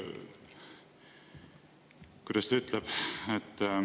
Kuidas ta ütleski?